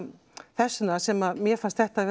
þess vegna sem mér fannst þetta